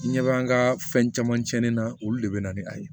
I ɲɛ b'an ka fɛn caman tiɲɛnen na olu le bɛ na ni a ye